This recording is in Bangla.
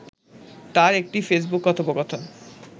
তার একটি ফেসবুক কথোপকথন